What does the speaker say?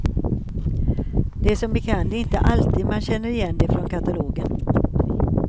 Det är som bekant inte alltid man känner igen det från katalogen.